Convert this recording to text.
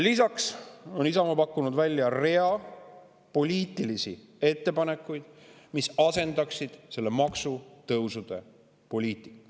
Isamaa on pakkunud välja rea poliitilisi ettepanekuid, mis asendaksid selle maksutõusude poliitika.